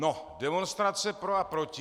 No, demonstrace pro a proti.